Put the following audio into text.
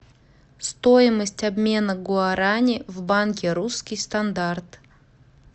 стоимость обмена гуарани в банке русский стандарт